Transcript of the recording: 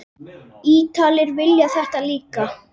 Ítalir vilja þetta líka.